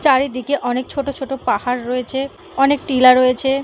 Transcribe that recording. চারিদিকে অনেক ছোট ছোট পাহাড় রয়েছে অনেক টিলা রয়েছে ।